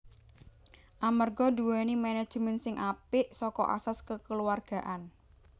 Amerga dhuweni menejemen sing apik saka asas kekeluargaan